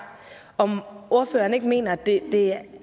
om ordføreren ikke mener at det